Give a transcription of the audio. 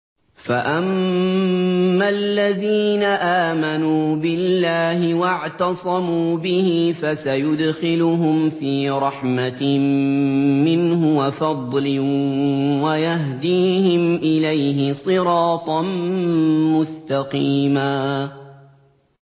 فَأَمَّا الَّذِينَ آمَنُوا بِاللَّهِ وَاعْتَصَمُوا بِهِ فَسَيُدْخِلُهُمْ فِي رَحْمَةٍ مِّنْهُ وَفَضْلٍ وَيَهْدِيهِمْ إِلَيْهِ صِرَاطًا مُّسْتَقِيمًا